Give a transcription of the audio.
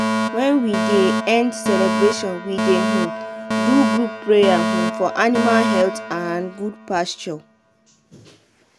when we dey end celebration we dey um do group prayer um for animal health and good pasture.